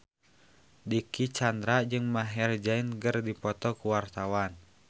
Dicky Chandra jeung Maher Zein keur dipoto ku wartawan